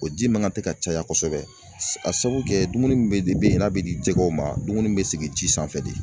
O ji ma ŋan tɛ ka caya kosɛbɛ s a sabu kɛ dumuni min bɛ de be ye n'a bɛ di jɛgɛw ma dumuni bɛ sigi ji sanfɛ de.